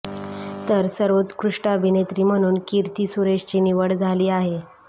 तर सर्वोत्कृष्ट अभिनेत्री म्हणून किर्थी सुरेशची निवड झाली आहे